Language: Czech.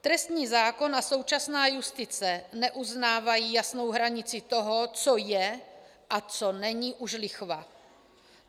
Trestní zákon a současná justice neuznávají jasnou hranici toho, co je a co není už lichva.